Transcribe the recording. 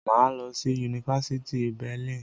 Mà á lọ sí yunifásítì Berlin.